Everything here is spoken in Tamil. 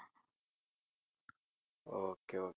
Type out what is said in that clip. okay ok~